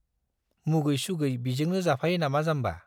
मुगै-सुगै बिजोंनो जाफायो नामा जाम्बा ?